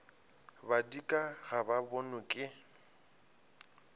badika ga ba bonwe ke